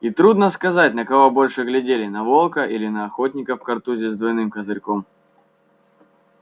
и трудно сказать на кого больше глядели на волка или на охотника в картузе с двойным козырьком